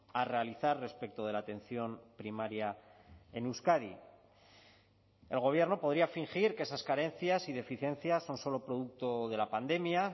a realizar respecto de la atención primaria en euskadi el gobierno podría fingir que esas carencias y deficiencias son solo producto de la pandemia